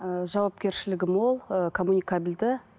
ы жауапкершілігі мол ы комуникабельді